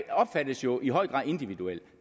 opfattes jo i høj grad individuelt